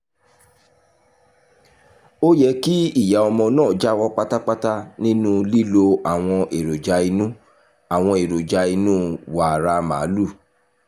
ó yẹ kí ìyá ọmọ náà jáwọ́ pátápátá nínú lílo àwọn èròjà inú àwọn èròjà inú wàrà màlúù